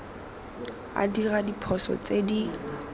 a dira diphoso tse di